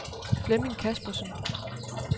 Flemming Kaspersen